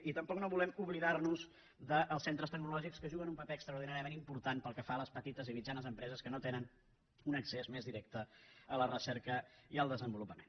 i tampoc no volem oblidar nos dels centres tecnològics que juguen un paper extraordinàriament important pel que fa a les petites i mitjanes empreses que no tenen un accés més directe a la recerca i al desenvolupament